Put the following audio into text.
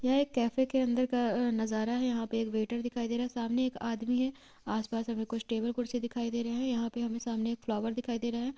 यह एक कैफ़े के अंदर का नजारा है | यहाँ पे वेटर दिखाई दे रहा है| सामने एक आदमी है| आस-पास हमें कुछ टेबल - कुर्सी दिखाई दे रहे हैं | यहाँ पे हमे सामने एक फ्लोवर दिखाई दे रहा है।